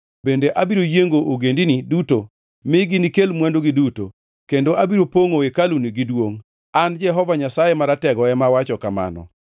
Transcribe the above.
bende abiro yiengo ogendini duto, ma ginikel mwandugi duto, kendo abiro pongʼo hekaluni gi duongʼ.’ An Jehova Nyasaye Maratego ema awacho kamano.